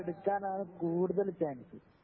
എടുക്കാനാണ് കൂടുതൽ ചാൻസ്